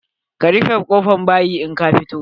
Ka rufe kofan bayi in ka fito.